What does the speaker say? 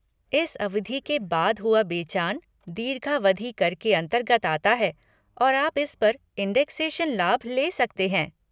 इस अवधि के बाद हुआ बेचान, दीर्घावधि कर के अन्तर्गत आता है और आप इस पर इंडेक्सेशन लाभ ले सकते हैं।